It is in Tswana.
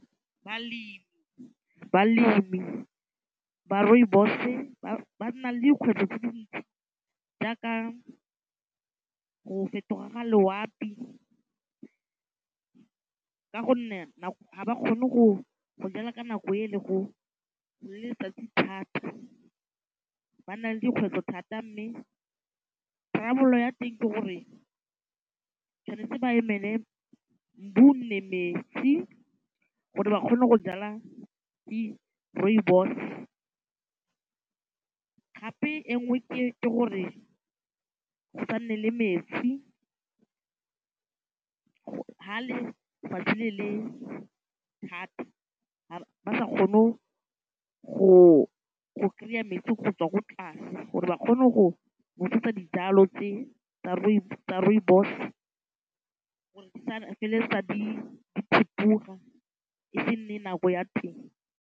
Balemi ba rooibos-e ba nna le dikgwetlho tse dintsi jaaka go fetoga ga loapi ka gonne ga ba kgone go jala ka nako e le go le letsatsi thata ba nna le dikgwetlho thata mme tharabololo ya teng ke gore tshwanetse ba emele o nne metsi gore ba kgone go jala di rooibos gape e nngwe ke gore go sa nne le metsi ha lefatshe le le thata ga ba sa kgone go kry-a metsi go tswa ko tlase gore ba ka go ne go nosetsa dijalo tse tsa rooibos gore di feleletsa di thipoga e se e nne nako ya teng.